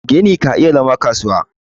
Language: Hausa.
gini ka iya zama kasuwa